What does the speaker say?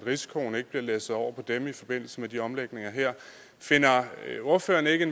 risikoen ikke bliver læsset over på dem i forbindelse med de her omlægninger finder ordføreren ikke